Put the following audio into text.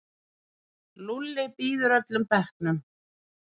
Lúlli býður öllum bekknum.